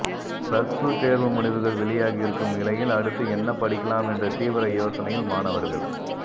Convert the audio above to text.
plus two தேர்வு முடிவுகள் வெளியாகியிருக்கும் நிலையில் அடுத்து என்ன படிக்கலாம் என்ற தீவிர யோசனையில் மாணவர்கள்